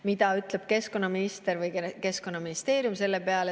Mida ütleb keskkonnaminister või Keskkonnaministeerium selle peale?